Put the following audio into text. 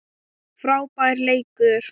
Frábær leikur.